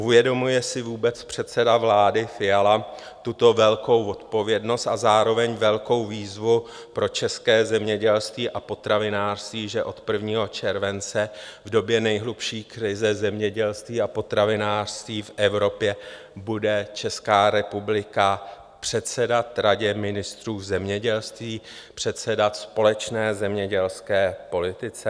Uvědomuje si vůbec předseda vlády Fiala tuto velkou odpovědnost a zároveň velkou výzvu pro české zemědělství a potravinářství, že od 1. července, v době nejhlubší krize zemědělství a potravinářství v Evropě, bude Česká republika předsedat Radě ministrů zemědělství, předsedat společné zemědělské politice?